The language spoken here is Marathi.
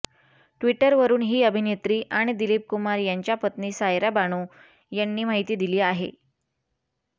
टि्वटरवरुन ही अभिनेत्री आणि दिलीप कुमार यांच्या पत्नी सायरा बानू यांनी माहिती दिली आहे